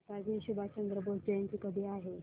नेताजी सुभाषचंद्र बोस जयंती कधी आहे